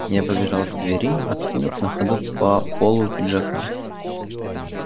я побежал к двери откинув на ходу по полу пиджака